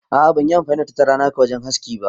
A'a ban yi amfani da matattara naka wajen haski ba.